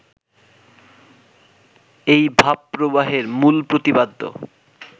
এই ভাবপ্রবাহের মূল প্রতিপাদ্য